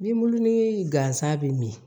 Ni bulon ni gansan bɛ min